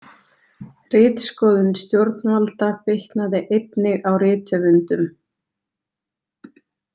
Ritskoðun stjórnvalda bitnaði einnig á rithöfundum.